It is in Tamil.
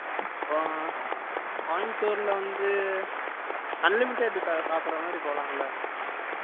ஆ, கோயம்புத்தூர்ல வந்து, unlimited சாப்பிடுற மாதிரி போலாம்ல